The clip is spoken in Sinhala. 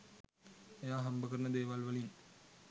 එයා හම්බ කරන දේවල් වලින්